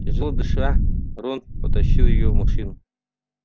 тяжело дыша рон потащил её в машину